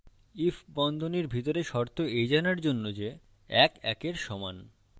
ifবন্ধনীর ভিতরে শর্ত এই জানার জন্য যে ১ ১এর সমান